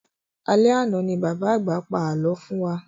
Alẹ́ àna ní bàbá àgbà pa alọ fún wa